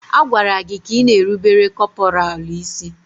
A gwara gị ka ị na-erubere kọpọraalụ isí!